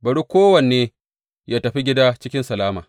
Bari kowanne yă tafi gida cikin salama.’